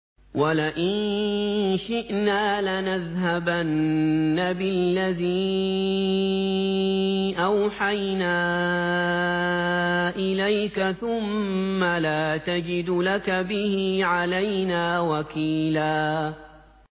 وَلَئِن شِئْنَا لَنَذْهَبَنَّ بِالَّذِي أَوْحَيْنَا إِلَيْكَ ثُمَّ لَا تَجِدُ لَكَ بِهِ عَلَيْنَا وَكِيلًا